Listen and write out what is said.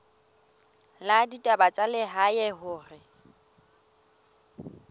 la ditaba tsa lehae hore